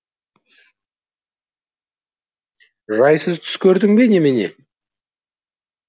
жайсыз түс көрдің бе немене